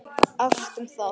Allt um það.